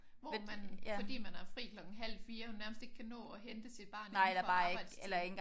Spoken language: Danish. Hvor man fordi man har fri klokken halv 4 nærmest ikke kan nå at hente sit barn indenfor arbejdstiden